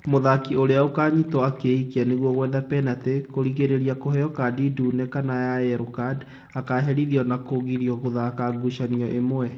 mũthakĩ ũria akanyĩtwo akĩĩkia nigwo gwetha penalty, kũrigĩrĩria kuheo kadĩ ndune kana yellow card, akaherĩthĩo na kũgĩrio gũthaka ngucanio imwe.